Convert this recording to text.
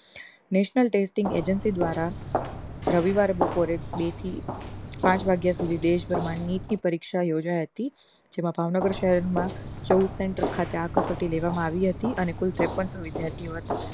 Netional testing agency દ્વારા રવિવારે બપોરે બે થી પાંચ વાગ્યા સુધી દેશભ્રમાંડ નીટ ની પરીક્ષા યોજાયી હતી જેમાં ભાવનગર શહેર માં ચૌદ center ખાતે આ કસોટી લેવામાં આવી હતી અને કુલ ત્રેપન્સો વિદ્યાર્થીઓ હતા